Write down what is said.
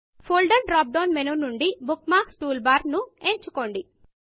folder drop down menu నుండి bookmarks toolbarబుక్మార్క్లు toolbar ను ఎంచుకోండి